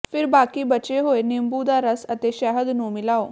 ਫਿਰ ਬਾਕੀ ਬਚੇ ਹੋਏ ਨਿੰਬੂ ਦਾ ਰਸ ਅਤੇ ਸ਼ਹਿਦ ਨੂੰ ਮਿਲਾਓ